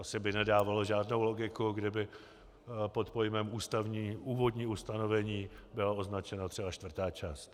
Asi by nedávalo žádnou logiku, kdyby pod pojmem Úvodní ustanovení byla označena třeba čtvrtá část.